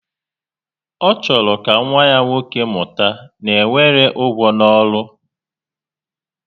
Ọ chọrọ ka nwa ya nwoke mụta na e nwere ugwu n'ọrụ